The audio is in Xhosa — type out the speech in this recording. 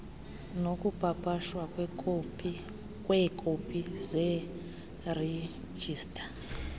nokupapashwa kweekopi zeerejista